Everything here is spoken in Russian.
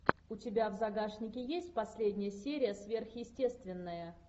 у тебя в загашнике есть последняя серия сверхъестественное